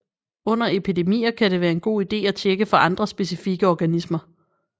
Under epidemier kan det være en god ide at tjekke for andre specifikke organismer